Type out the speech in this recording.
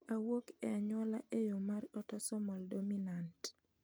Owuok e anyuola e yo mar autosomal dominant